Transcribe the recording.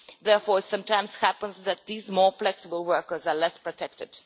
Therefore, it sometimes happens that these more flexible workers are less protected.